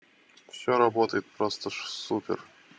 всё работает просто же супер